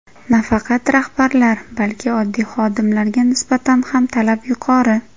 Nafaqat rahbarlar, balki oddiy xodimlarga nisbatan ham talab yuqori.